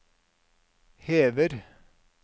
hever